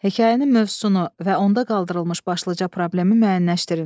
Hekayənin mövzusunu və onda qaldırılmış başlıca problemi müəyyənləşdirin.